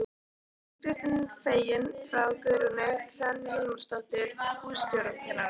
Uppskriftin er fengin frá Guðrúnu Hrönn Hilmarsdóttur hússtjórnarkennara.